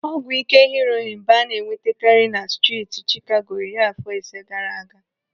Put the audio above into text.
Ọgwụ ike heroin bụ ana-enwetakarị na striiti Chicago iri afọ ise gaara aga.